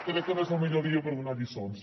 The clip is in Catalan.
crec que no és el millor dia per donar lliçons